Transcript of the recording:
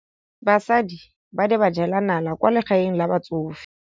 Basadi ba ne ba jela nala kwaa legaeng la batsofe.